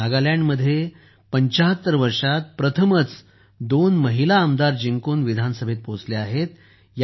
नागालँडमध्ये 75 वर्षांत प्रथमच दोन महिला आमदार जिंकून विधानसभेत पोहोचल्या आहेत